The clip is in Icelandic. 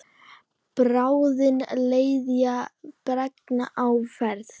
Bráðin leðja bergs á ferð.